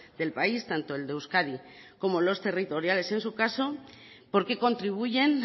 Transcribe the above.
del país tanto el de euskadi como los territoriales en su caso porque contribuyen